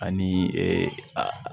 Ani